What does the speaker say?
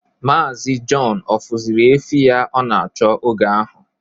Maazi Jọn ọ fụzịrị efi ya ọ na-achọ oge ahụ?